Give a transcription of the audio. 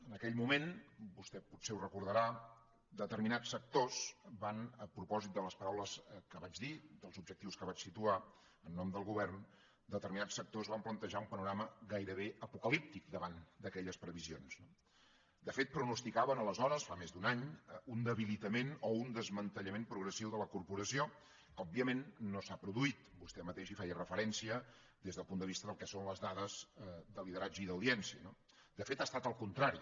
en aquell moment vostè potser ho recordarà determinats sectors a propòsit de les paraules que vaig i dels objectius que vaig situar en nom del govern van plantejar un panorama gairebé apocalíptic davant d’aquelles previsions no de fet pronosticaven aleshores fa més d’un any un debilitament o un desmantellament progressiu de la corporació que òbviament no s’ha produït vostè mateix hi feia referència des del punt de vista del que són les dades de lideratge i d’audiència no de fet ha estat al contrari